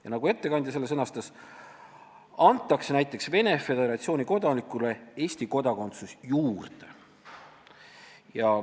Ja nagu ettekandja selle sõnastas, antakse näiteks Venemaa Föderatsiooni kodanikule Eesti kodakondsus juurde.